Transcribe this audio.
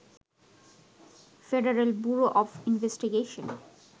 federal Bureau of investigation